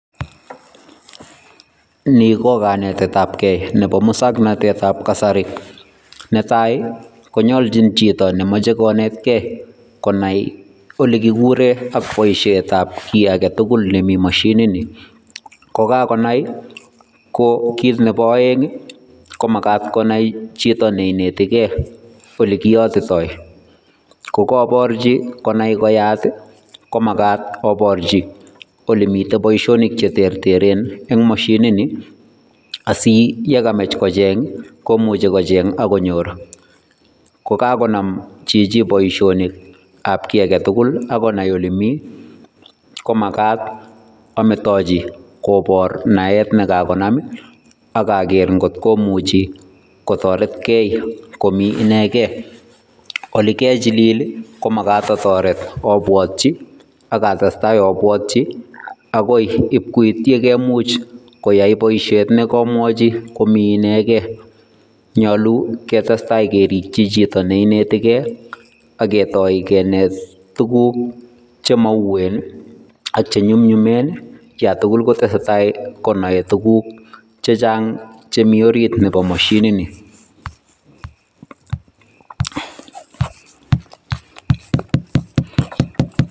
Nii ko kanetetabke nebo muswoknotetab kasari, netai konyolchin chito nemoche konetke konai olekikuren ak boishetab kii aketukul nemii mashinini , kokakonai ko kiit nebo oeng komakat konai chito neineti kee olekiyoitoi kokoborchi konai koyat komakat aborchi olemiten boishonik cheterteren en moshinini asiyekamach kocheng komuche kocheng ak konyor kokakonam chichii boishonikab kii aketukul ak konai olemii komakat ametochi kobor naet nekakonam akaker ng'ot komuchi kotoretkee komii inekei, olekachilil komakat atoret obwotyi ak atestai obwotyi akoi iib koit yekaimuch koyai boishet nekomwochi komii inekee, nyolu ketestai kerikyi chito neinetekee ak ketoi kineet tukuk chemouwen ak chenyumnyumen yoon tukul kotesetai konoe tukuk chechang chemii oriit nebo moshinini.